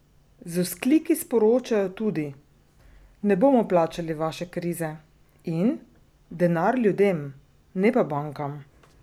Z vzkliki sporočajo tudi: "Ne bomo plačali vaše krize" in "Denar ljudem, ne pa bankam".